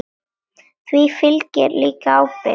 Því fylgir líka ábyrgð.